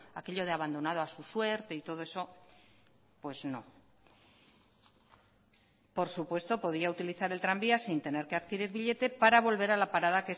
aquello de abandonado a su suerte y todo eso pues no por supuesto podía utilizar el tranvía sin tener que adquirir billete para volver a la parada